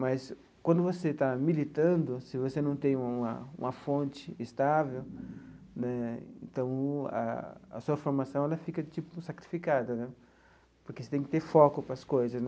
Mas, quando você está militando, se você não tem uma uma fonte estável né, então, a a sua formação ela fica, tipo, sacrificada né, porque você tem que ter foco para as coisas né.